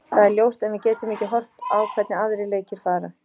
Það er ljóst en við getum ekki horft á hvernig aðrir leikir fara.